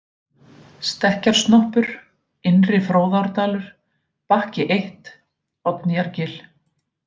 Stekkjarsnoppur, Innri-Fróðárdalur, Bakki 1, Oddnýjargil